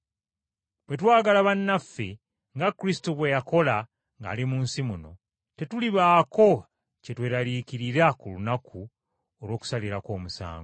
Bwe twagala bannaffe nga Kristo bwe yakola ng’ali mu nsi muno, tetulibaako kye tweraliikirira ku lunaku olw’okusalirako omusango.